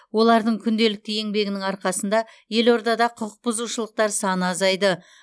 олардың күнделікті еңбегінің арқасында елордада құқықбұзушылықтар саны азаиды